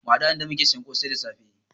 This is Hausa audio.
Mu haɗu a inda muke siyan kosai da safe